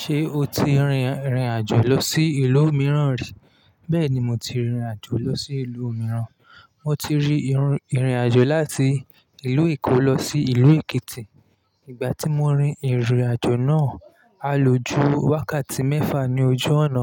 Ṣé o ti rìnrìn àjò lọ sí ìlú mìíràn rí? Bẹ́ẹ̀ni, mo ti rìnrìn àjò lọ sí ìlú mìíràn. Mo ti rìnrìn àjò láti ìlú Èkó lọ sí ìlú Èkìtì. Ìgbà tí mo rin ìrìn àjò náà, a loju wákàtí mẹ́fà ní ojú ọ̀nà.